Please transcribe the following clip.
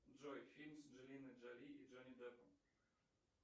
джой фильм с анджелиной джоли и джонни деппом